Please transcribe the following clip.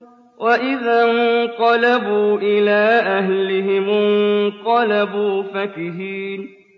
وَإِذَا انقَلَبُوا إِلَىٰ أَهْلِهِمُ انقَلَبُوا فَكِهِينَ